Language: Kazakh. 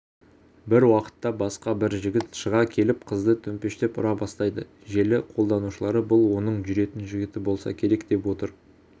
бір уақытта басқа бір жігіт шыға келіп қызды төмпештеп ұра бастайды желі қолданушылары бұл оның жүретін жігіті болса керек деп отыр